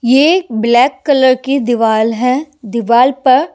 ये black colour की दिवाल है दिवाल पर--